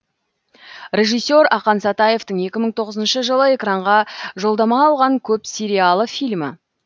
режиссер ақан сатаевтың екі мың тоғызыншы жылы экранға жолдама алған көп сериалы фильмі